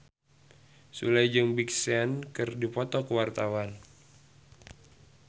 Sule jeung Big Sean keur dipoto ku wartawan